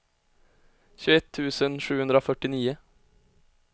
tjugoett tusen sjuhundrafyrtionio